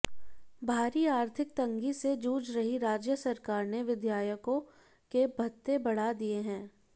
भारी आर्थिक तंगी से जूझ रही राज्य सरकार ने विधायकों के भत्ते बढ़ा दिए हैं